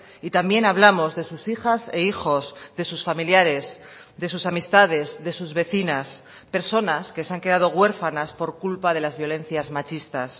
y también hablamos de sus hijas e hijos de sus familiares de sus amistades de sus vecinas personas que se han quedado huérfanas por culpa de las violencias machistas